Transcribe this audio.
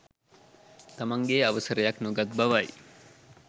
තමන්ගෙන් අවසරයක් නොගත් බවයි